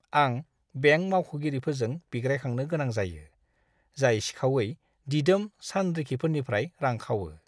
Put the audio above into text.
आं बेंक मावख'गिरिफोरजों बिग्रायखांनो गोनां जायो, जाय सिखावै दिदोम सानरिखिफोरनिफ्राय रां खावो!